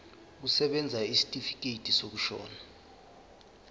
kusebenza isitifikedi sokushona